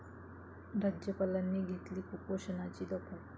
राज्यपालांनी घेतली कुपोषणाची दखल